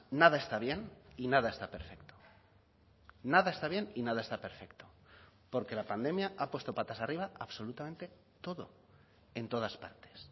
nada está bien y nada está perfecto nada está bien y nada está perfecto porque la pandemia ha puesto patas arriba absolutamente todo en todas partes